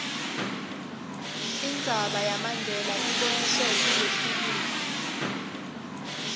indzaba yamandela iboniswe kulelifilimu